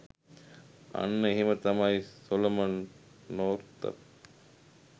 අන්න එහෙම තමයි සොලමන් නොර්තප්